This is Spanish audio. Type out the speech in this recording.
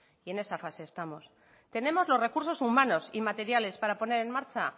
y en esa fase estamos tenemos los recursos humanos y materiales para poner en marcha